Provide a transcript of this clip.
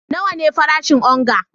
Nawa ne farashin onga?